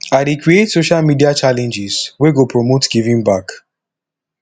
i dey create social media challenges wey go promote giving back